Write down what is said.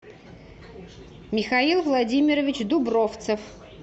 михаил владимирович дубровцев